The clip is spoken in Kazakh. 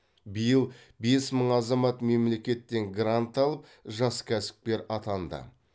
биыл бес мың азамат мемлекеттен грант алып жас кәсіпкер атанды